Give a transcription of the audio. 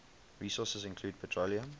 resources include petroleum